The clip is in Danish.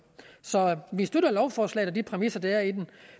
så vi støtter lovforslaget og de præmisser der er i det